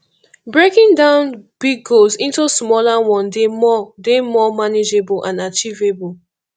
breaking down big goals into smaller one dey more dey more manageable and achievable